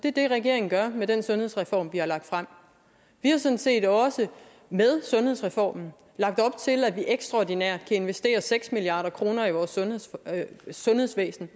det er det regeringen gør med den sundhedsreform vi har lagt frem vi har sådan set også med sundhedsreformen lagt op til at ekstraordinært kan investeres seks milliard kroner i vores sundhedsvæsen